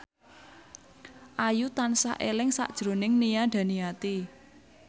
Ayu tansah eling sakjroning Nia Daniati